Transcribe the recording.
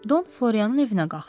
Don Florianın evinə qalxdım.